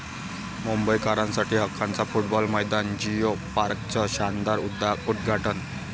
मुंबईकरांसाठी हक्काचं फुटबॉल मैदान, जियो पार्कचं शानदार उद्घाटन